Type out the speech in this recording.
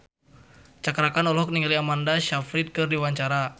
Cakra Khan olohok ningali Amanda Sayfried keur diwawancara